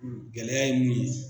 Gɛlɛya ye mun ye.